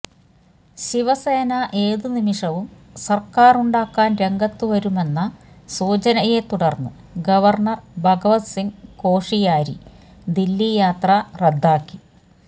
ശിവസേന ഏത് നിമിഷവും സര്ക്കാരുണ്ടാക്കാന് രംഗത്ത് വരുമെന്ന സൂചനയെ തുടര്ന്ന് ഗവര്ണര് ഭഗത് സിംഗ് കോഷിയാരി ദില്ലി യാത്ര റദ്ദാക്കി